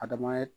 Adama ye